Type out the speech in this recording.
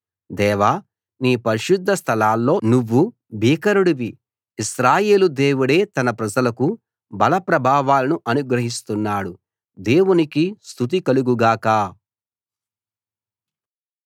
దేవా నీ పరిశుద్ధ స్థలాల్లో నువ్వు భీకరుడివి ఇశ్రాయేలు దేవుడే తన ప్రజలకు బల ప్రభావాలను అనుగ్రహిస్తున్నాడు దేవునికి స్తుతి కలుగు గాక